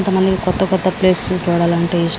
కొంతమందికి కొత్త కొత్త ప్లేస్ లు చూడాలంటే యిస్టం --